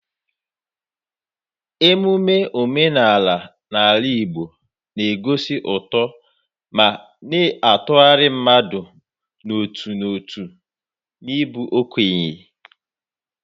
Emume omenala n'ala Igbo na-egosi uto ma na-atụgharị mmadụ n'otu n'otu n'ịbụ okenye.